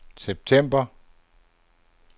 september